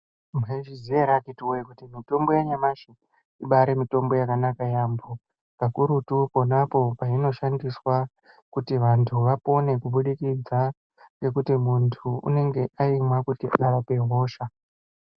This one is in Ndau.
Maizviziya ere akiti woye kuti mitombo yanyamashi imbari mitombo yakanaka yambo kakurutu ponapo painoshandiswa kuti vantu vapone kubudikidza ngekuti muntu unenge aimwa kuti arape hosha.